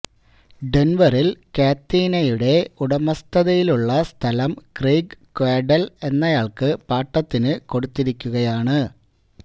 ഡെന്വറില് കാത്തിനയുടെ ഉടമസ്ഥതയിലുള്ള സ്ഥലം ക്രെയിഗ് കാഡ്വെല് എന്നയാള്ക്ക് പാട്ടത്തിന് കൊടുത്തിരിക്കുകയാണ്